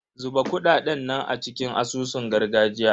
Zuba kuɗaɗen nan a cikin asusun gargajiya.